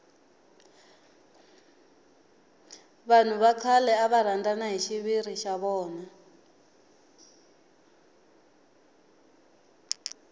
vanhu va khale ava rhandana hi xiviri xa vona